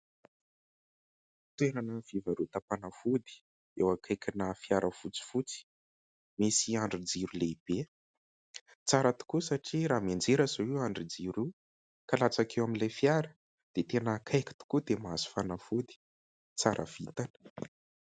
Toerana fivarotam-panafody eo akaikina fiara fotsifotsy, misy andrin-jiro lehibe, tsara tokoa satria raha mianjera izao io andrin-jiro io ka latsaka eo amin'ilay fiara dia tena akaiky tokoa dia mahazo fanafody, tsara vitana.